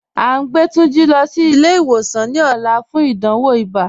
A ǹ gbẹ Tunjí lọ sí ilẹ̀-ìwòsàn ní òlà fún ìdánwò ìbá